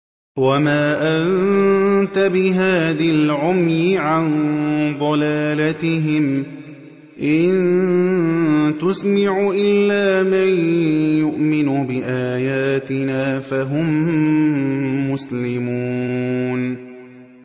وَمَا أَنتَ بِهَادِي الْعُمْيِ عَن ضَلَالَتِهِمْ ۖ إِن تُسْمِعُ إِلَّا مَن يُؤْمِنُ بِآيَاتِنَا فَهُم مُّسْلِمُونَ